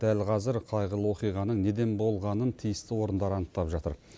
дәл қазір қайғылы оқиғаның неден болғанын тиісті орындар анықтап жатыр